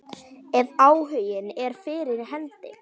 Ef áhuginn er fyrir hendi.